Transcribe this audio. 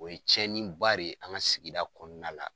O ye cɛnni ba ye an ka sigi kɔnɔna la.